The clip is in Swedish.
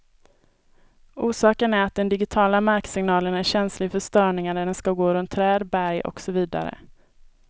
Orsaken är att den digitiala marksignalen är känslig för störningar när den skall gå runt träd, berg och så vidare.